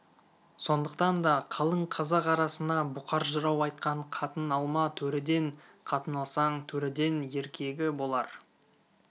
сондықтан да қалың қазақ арасына бұқар жырау айтқан қатын алма төреден қатын алсаң төреден еркегі болар